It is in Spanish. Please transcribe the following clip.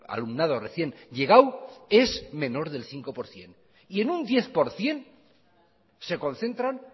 alumnado recién llegado es menos del cinco por ciento y en un diez por ciento se concentran